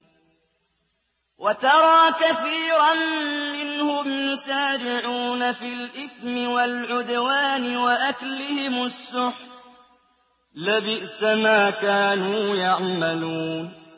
وَتَرَىٰ كَثِيرًا مِّنْهُمْ يُسَارِعُونَ فِي الْإِثْمِ وَالْعُدْوَانِ وَأَكْلِهِمُ السُّحْتَ ۚ لَبِئْسَ مَا كَانُوا يَعْمَلُونَ